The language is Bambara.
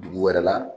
Dugu wɛrɛ la